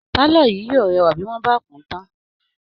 Pálọ̀ yìí yóò rẹwà bí wọ́n bá kùn-ún tán